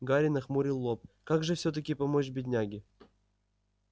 гарри нахмурил лоб как же всё-таки помочь бедняге